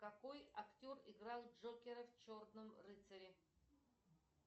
какой актер играл джокера в черном рыцаре